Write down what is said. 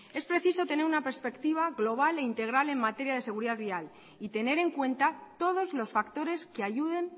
es preciso tener una perspectiva global e integral en materia de seguridad vial y tener en cuenta todos los factores que ayuden